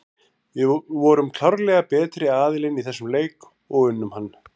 Við vorum klárlega betri aðilinn í þessum leik og unnum hann.